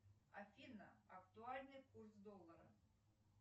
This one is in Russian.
афина актуальный курс доллара